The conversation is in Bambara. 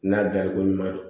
N'a dariko ɲuman don